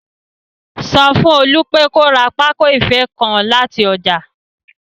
Sọ fún Olú pé kó ra pákó ìfé nǹkan láti ọjà